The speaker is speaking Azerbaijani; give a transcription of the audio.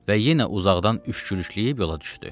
Və yenə uzaqdan üç kürükülüyüb yola düşdü.